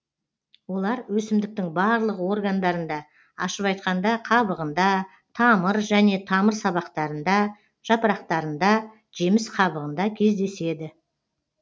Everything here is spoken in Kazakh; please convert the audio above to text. олар өсімдіктің барлық органдарында ашып айтқанда қабығында тамыр және тамыр сабақтарында жапырақтарында жеміс қабығында кездеседі